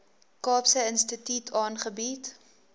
kaapse instituut aangebied